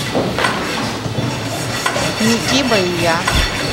микибо и я